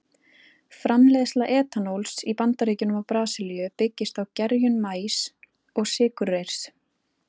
Framleiðsla etanóls í Bandaríkjunum og Brasilíu byggist á gerjun maís og sykurreyrs.